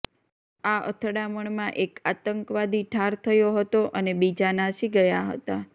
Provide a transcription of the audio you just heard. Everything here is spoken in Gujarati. આ અથડામણમાં એક આતંકવાદી ઠાર થયો હતો અને બીજા નાસી ગયા હતા